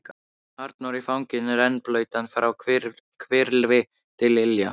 Arnór í fanginu, rennblautan frá hvirfli til ilja.